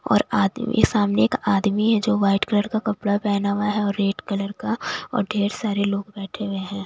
और आदमी सामने एक आदमी है जो व्हाइट कलर का कपड़ा पहना हुआ है और रेड कलर का और ढेर सारे लोग बैठे हुए हैं।